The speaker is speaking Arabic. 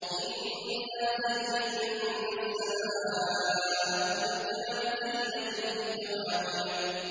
إِنَّا زَيَّنَّا السَّمَاءَ الدُّنْيَا بِزِينَةٍ الْكَوَاكِبِ